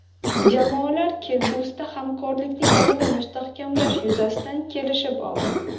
Jamoalar kelgusida hamkorlikni yanada mustahkamlash yuzasidan kelishib oldi.